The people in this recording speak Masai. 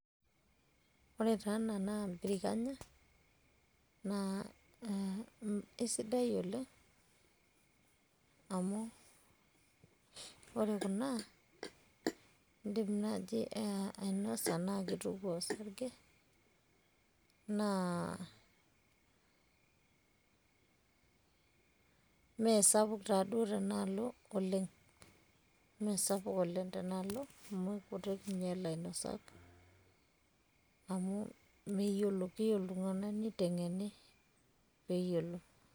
ore taa ena naa birikanya naa isidai oleng amu ore kuna idim naji ainosa naa kituko osarge, naa imesapuk tena alo oleng. amu mme kumok ninye ilainosak. keyieu iltunganak nitengeni amu meyiolo.